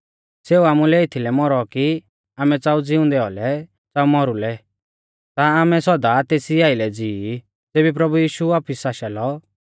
सेऊ आमुलै एथीलै मौरौ कि आमै च़ाऊ ज़िउंदै औलै च़ाऊ मौरुलै ता आमै सौदा तेसी आइलै ज़िवी ज़ेबी प्रभु यीशु वापिस आशा लौ